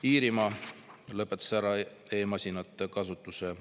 Iirimaa lõpetas ära e-masinate kasutuse.